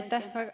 Aitäh!